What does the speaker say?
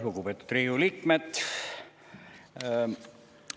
Lugupeetud Riigikogu liikmed!